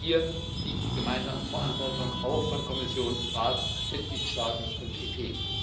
Hier liegt die gemeinsame Verantwortung auch von Kommission, Rat, Mitgliedstaaten und EP.